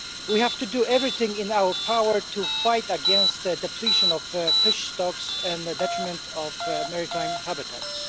We have to do everything in our power to fight against the depletion of fish stocks and the detriment of maritime habitats.